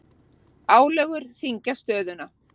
Álögur þyngja stöðuna